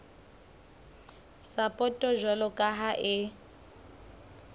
sapoto jwalo ka ha e